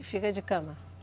E fica de cama?